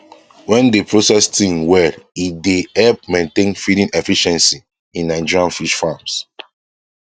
wen dey process thing wellit dey help maintain feeding efficiency in nigerian fish farms